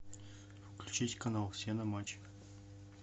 включить канал все на матч